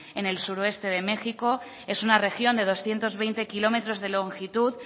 en el suroeste de méxico es una región de doscientos veinte kilómetros de longitud